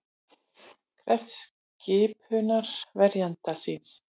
Krefst skipunar verjanda síns